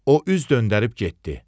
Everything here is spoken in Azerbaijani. O üz döndərib getdi.